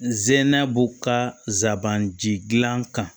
Zɛnna b'u ka zaban jilan kan